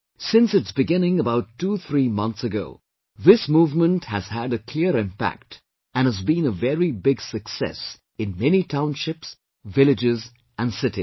Since its beginning about twothree months ago, this movement has had a clear impact and has been a very big success in many townships, villages and cities